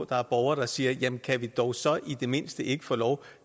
er borgere der siger kan vi dog så i det mindste ikke få lov